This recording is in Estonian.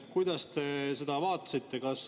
Kuidas te seda vaatasite?